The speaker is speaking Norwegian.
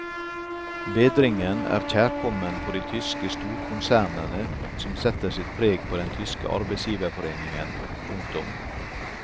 Bedringen er kjærkommen for de tyske storkonsernene som setter sitt preg på den tyske arbeidsgiverforeningen. punktum